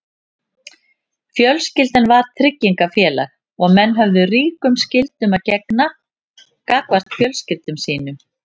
Fjölskyldan var tryggingafélag og menn höfðu ríkum skyldum að gegna gagnvart fjölskyldum sínum.